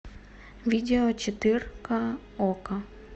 видео четырка окко